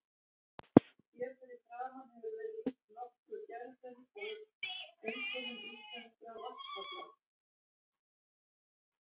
Hér að framan hefur verið lýst nokkuð gerðum og einkennum íslenskra vatnsfalla.